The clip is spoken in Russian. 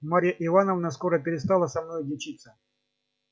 марья ивановна скоро перестала со мною дичиться